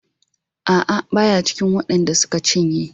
A'a baya cikin waɗan da suka cinye.